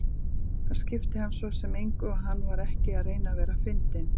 Það skipti hann svo sem engu og hann var ekki að reyna að vera fyndinn.